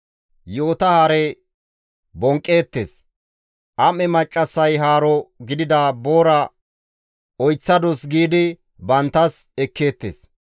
Yi7ota hare bonqqeettes; am7e maccassaya boora oyththadus giidi banttas ekkeettes.